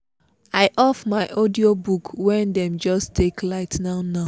i off my audiobook when them just take light now now